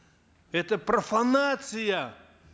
это профанация